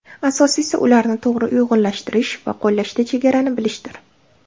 Asosiysi ularni to‘g‘ri uyg‘unlashtirish va qo‘llashda chegarani bilishdir.